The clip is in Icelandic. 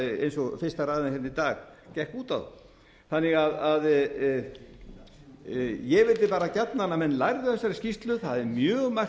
eins og fyrsta ræðan í dag gekk út á ég vildi gjarnan að menn lærðu af þessari skýrslu það er mjög margt